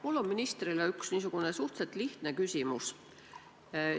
Mul on ministrile üks suhteliselt lihtne küsimus.